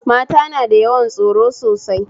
Mata na da yawan tsoro sosai